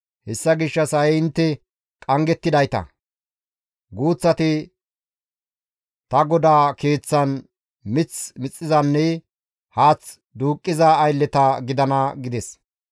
Hessa gishshas ha7i intte qanggettidayta; guuththati ta GODAA Keeththan mith mixizanne haath duuqqiza aylleta gidana» gides.